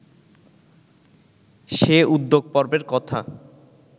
সে উদ্যোগপর্বের কথা